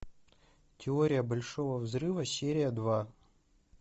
теория большого взрыва серия два